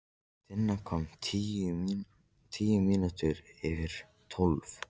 Tinna kom tíu mínútur yfir tólf.